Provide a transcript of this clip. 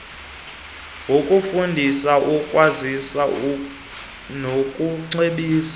ngokufundisa ukwazisa nokucebisa